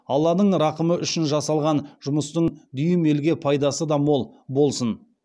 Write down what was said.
алланың рақымы үшін жасалған жұмыстың дүйім елге пайдасы да мол болсын